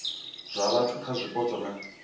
zwa vhathu kha zwipotso na